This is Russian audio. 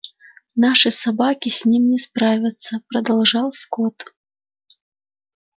наши собаки с ним не справятся продолжал скотт